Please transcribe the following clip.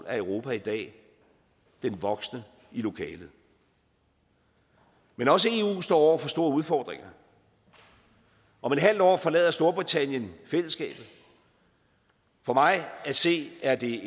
er europa i dag den voksne i lokalet men også eu står over for store udfordringer om en halv år forlader storbritannien fællesskabet for mig at se er det